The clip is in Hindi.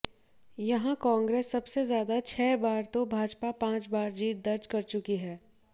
यहां कांग्रेस सबसे ज्यादा छह बार तो भाजपा पांच बार जीत दर्ज कर चुकी है